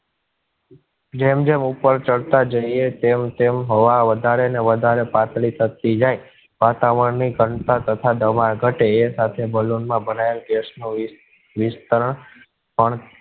જેમ જેમ ઉપર ચઢ તા જઇએ તેમ તેમ હોવા વધારે ને વધારે પાતળી થતી જાય. વાતાવરણ તથા દવા ઘટે સાથે balloon માં ભરાયેલો gas નો